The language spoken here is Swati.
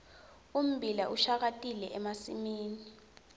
ummbila ushakatile emasimini